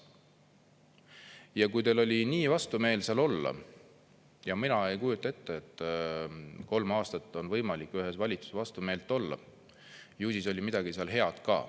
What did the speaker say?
Ja kui teil oli nii vastumeelt seal olla, mina ei kujuta ette, et kolm aastat on võimalik ühes valitsuse vastumeelt olla, ju siis oli midagi head ka.